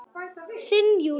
Þinn Júlíus.